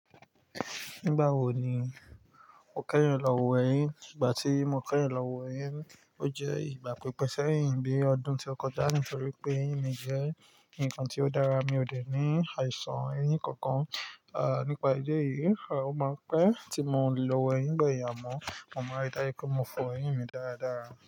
Nígbà wo ni o kẹ́yin lọ wọ eyín? Nígbà tí mo kẹ́yin lọ wọ eyín, ó jẹ́ ìgbà pípẹ́ sẹ́yìn bí ọdún tí ó kọjá nítorí pé eyín mi jẹ́ nǹkan tí ó dára, mi ò dẹ̀ ní àìsàn eyín kankan. À, nípa ìdí èyí, ó máa n pẹ́ tí mo lè lọ wọ eyín bayi ámọ̀. Mo máa n rí dájú pé mo fọ eyín mi dára dára.